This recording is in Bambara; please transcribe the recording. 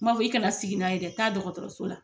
N m'a fɔ, i kana sigi n'a ye dɛ taa dɔkɔtɔrɔso la